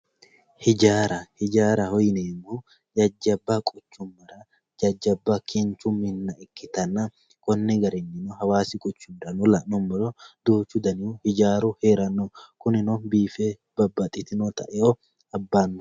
hiijaara hiijaaraho yineemohu jajjabba quchummara jajjabba kinchu minna ikkitanna konni garinnino hawaasi quchumirano la'numoro duuchu danihu ijaaru heeranno kunino biife babbaxitinota e"o abbanno.